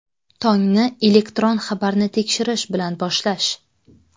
Tongni elektron xabarni tekshirish bilan boshlash.